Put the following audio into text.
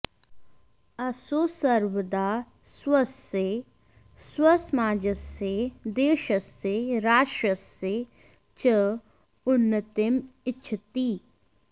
असौ सर्वदा स्वस्य स्वसमाजस्य देशस्य राष्ट्रस्य च उन्नतिम् इच्छति